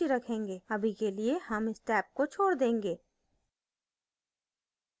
अभी के लिए हम इस टैब को छोड देंगे